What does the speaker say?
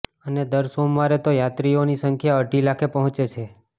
અને દર સોમવારે તો યાત્રીઓની સંખ્યા અઢી લાખે પહોંચે છે